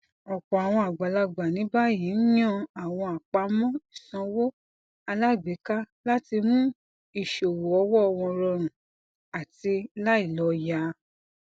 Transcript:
ọpọ àwọn agbalagba ní báyìí ń yàn àwọn àpamọ ìsanwó alágbèéká láti mú ìṣòwò owó wọn rọrùn àti láìlòyà